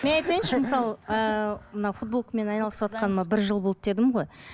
мен айтайыншы мысалы ыыы мынау футболкамен айналысыватқаныма бір жыл болды дедім ғой